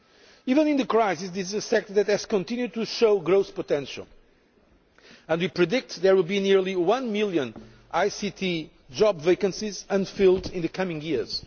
Even in the crisis, this is a sector that has continued to show growth potential, and we predict there will be nearly one million ICT job vacancies unfilled in the coming years.